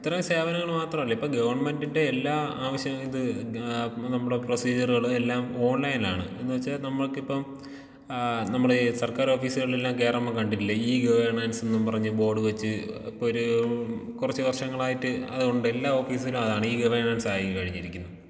ഇത്രയും സേവനങ്ങള് മാത്രമല്ല ഇപ്പോൾ ഗവൺമെന്റിന്റെ എല്ലാ ആവശ്യ ഇത് ആ നമ്മളെ പ്രൊസീജറുകളെല്ലാം എല്ലാം ഓൺലൈനാണ് എന്നുവെച്ചാ നമുക്കിപ്പം ആ നമ്മൾ ഈ സർക്കാർ ഓഫീസുകളിലെല്ലാം കേറുമ്പോ കണ്ടിട്ടില്ലേ ഈ ഗവേണൻസ്ന്നും പറഞ്ഞ് ബോർഡ് വെച്ച് ഇപ്പൊര് കൊറച്ചു വർഷങ്ങളായിട്ട് അത് ഉണ്ട് എല്ലാ ഓഫീസിലും അതാണ് ഈ ഗവേഡൻസായി കഴിഞ്ഞിരിക്കുന്നു.